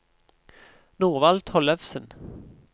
Norvald Tollefsen